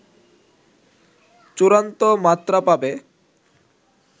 চূড়ান্ত মাত্রা পাবে